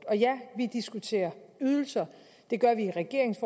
og ja vi diskuterer ydelser det gør vi i regeringens